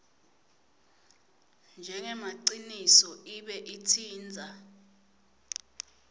njengemaciniso ibe itsintsa